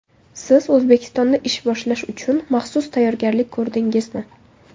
Siz O‘zbekistonda ish boshlash uchun maxsus tayyorgarlik ko‘rdingizmi?